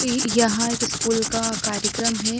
इ यह एक स्कूल का कार्यकर्म है।